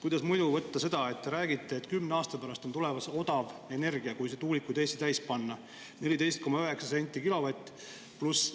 Kuidas muidu võtta seda, et te räägite, et kümne aasta pärast on tulemas odav energia, kui Eesti tuulikuid täis panna, 14,9 senti kilovatt?